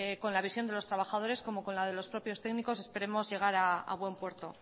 con la visión de los trabajadores como con la de los propios técnicos esperemos llegar a bueno puerto